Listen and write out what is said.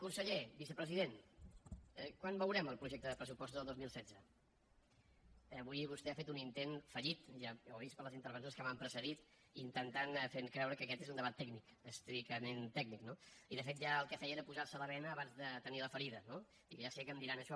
conseller vicepresident quan veurem el projecte de pressupostos del dos mil setze avui vostè ha fet un intent fallit ja ho ha vist per les intervencions que m’han precedit intentant fer creure que aquest és un debat tècnic estrictament tècnic no i de fet ja el que feia era posar se la bena abans de tenir la ferida no ja sé que em diran això